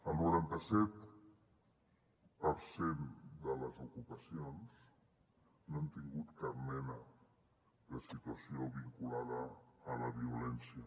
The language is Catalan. el noranta set per cent de les ocupacions no han tingut cap mena de situació vinculada a la violència